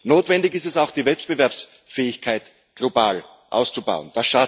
Notwendig ist es auch, die Wettbewerbsfähigkeit global auszubauen.